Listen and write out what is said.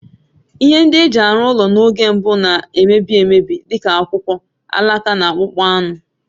Ihe ndị e ji arụ ụlọ n'oge mbụ na-emebi emebi, dị ka akwụkwọ, alaka, na akpụkpọ anụ.